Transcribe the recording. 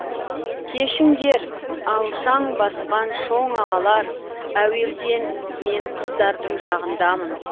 кешіңдер алшаң басқан шоң ағалар әуелден мен қыздардың жағындамын